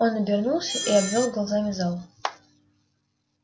он обернулся и обвёл глазами зал